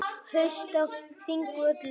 Haust á Þingvöllum.